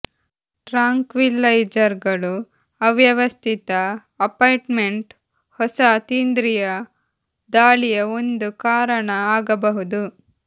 ಟ್ರಾಂಕ್ವಿಲೈಜರ್ಗಳು ಅವ್ಯವಸ್ಥಿತ ಅಪಾಯಿಂಟ್ಮೆಂಟ್ ಹೊಸ ಅತೀಂದ್ರಿಯ ದಾಳಿಯ ಒಂದು ಕಾರಣ ಆಗಬಹುದು